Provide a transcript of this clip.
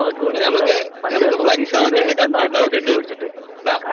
എടാ നമ്മക്ക് ഫ്ലക്സ് വെക്കണ്ടേ ? കട്ട്ഔട്ട് ആ വെക്കണ്ടേ എടാ